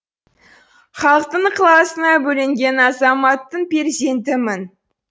халықтың ықыласына бөленген азаматтың перзентімін